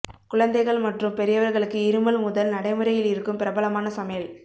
குழந்தைகள் மற்றும் பெரியவர்களுக்கு இருமல் முதல் நடைமுறையில் இருக்கும் பிரபலமான சமையல்